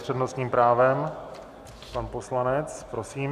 S přednostním právem pan poslanec, prosím.